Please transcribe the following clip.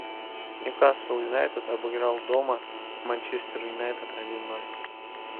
ньюкасл юнайтед обыграл дома манчестер юнайтед один ноль